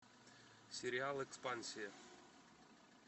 сериал экспансия